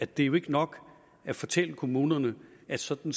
det jo ikke nok at fortælle kommunerne at sådan